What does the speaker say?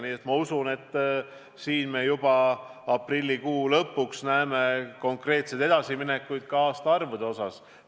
Nii et ma usun, et me juba aprillikuu lõpus näeme konkreetseid edasiminekuid ka aastaarvude osas.